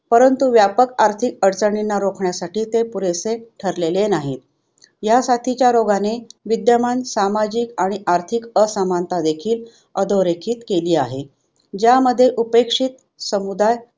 परंतु व्यापक आर्थिक अडचणींना रोखण्यासाठी ते पुरेसे ठरलेले नाहीत. ह्यासाथीच्या रोगाने विद्यमान, सामाजिक आणि आर्थिक असमानता देखील अधोरेखित केली आहे. ज्यामध्ये उपेक्षित समुदाय